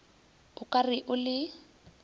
o ka re o le